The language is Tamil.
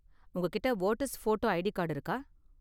உங்ககிட்ட வோட்டர்ஸ் போட்டோ ஐடி கார்டு இருக்கா?